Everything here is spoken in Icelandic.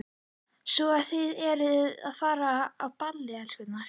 Svo að þið eruð að fara á ball, elskurnar?